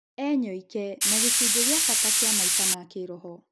enyoike, na nĩ gĩcunjĩ gĩa bata kĩa maica ma kĩroho.